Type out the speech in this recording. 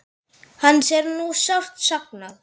Hans er nú sárt saknað.